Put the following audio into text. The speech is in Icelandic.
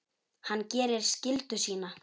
Hann gerir skyldu sína.